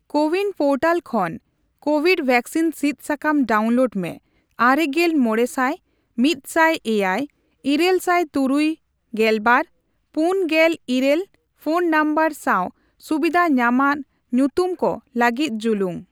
CoWIN portal ᱠᱷᱚᱱ covid vaccine ᱥᱤᱫ ᱥᱟᱠᱟᱢ ᱰᱟᱣᱩᱱᱞᱳᱰ ᱢᱮ ᱟᱨᱮᱜᱮᱞ ᱢᱚᱲᱮᱥᱟᱭ, ᱢᱤᱴᱥᱟᱭ ᱮᱭᱟᱭ, ᱤᱨᱟᱹᱞ ᱥᱟᱭ ᱛᱩᱨᱩᱭ ᱜᱮᱞ ᱵᱟᱨ, ᱯᱩᱱ ᱜᱮᱞ ᱤᱨᱟᱹᱞ ᱯᱷᱚᱱ ᱱᱚᱢᱵᱚᱨ ᱥᱟᱣ ᱥᱩᱵᱤᱫᱷ ᱧᱟᱢᱟᱱ ᱧᱩᱛᱩᱢ ᱠᱚ ᱞᱟᱹᱜᱤᱫ ᱡᱩᱞᱩᱝ ᱾